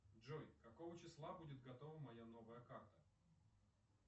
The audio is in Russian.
джой какого числа будет готова моя новая карта